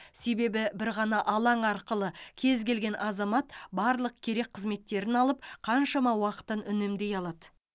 себебі бір ғана алаң арқылы кез келген азамат барлық керек қызметтерін алып қаншама уақытын үнемдей алады